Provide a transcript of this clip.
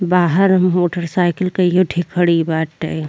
बाहर मोटरसाइकिल कईयें ठे खड़ी बाटे।